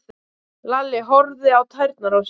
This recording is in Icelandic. Lalli horfði á tærnar á sér.